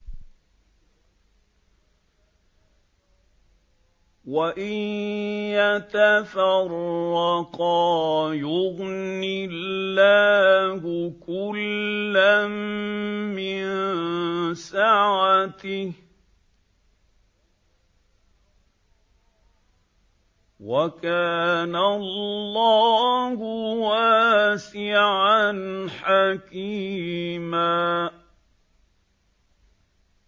وَإِن يَتَفَرَّقَا يُغْنِ اللَّهُ كُلًّا مِّن سَعَتِهِ ۚ وَكَانَ اللَّهُ وَاسِعًا حَكِيمًا